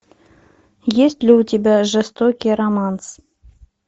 есть ли у тебя жестокий романс